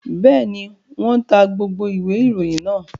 Bẹ́ẹ̀ ni, wọ́n ta gbogbo ìwé-ìròyìn náà.